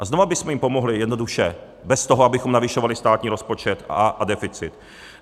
A znova bychom jim pomohli jednoduše bez toho, abychom navyšovali státní rozpočet a deficit.